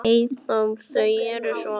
Eyþór: Þau eru svo mörg.